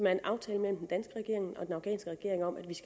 er en aftale mellem den danske regering og den afghanske regering om at vi